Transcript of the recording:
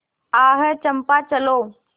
आह चंपा चलो